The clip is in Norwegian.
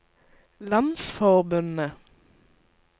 landsforbundet